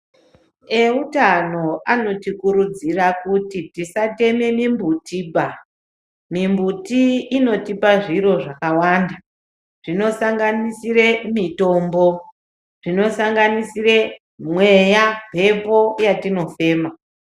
Eutano anotikurudzira kuti tisateme mumbutiba mumbuti inotipa zviro zvakawanda. Zvinosanganisire mitombo, zvinosanganisire mweya, mhepo yatinofema.